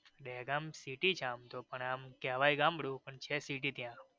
Dehgam city છે આમતો પણ આમ કેવાઈ ગામડું પણ છે city ત્યાં.